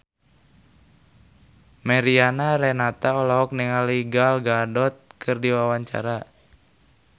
Mariana Renata olohok ningali Gal Gadot keur diwawancara